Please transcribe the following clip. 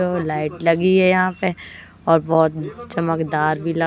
light लगी है यहां पे और बहुत चमकदार भी--